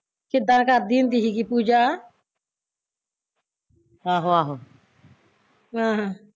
ਕਿੱਦਾਂ ਕਰਦੀ ਹੁੰਦੀ ਸੀਗੀ ਪੂਜਾ ਆਹਾਂ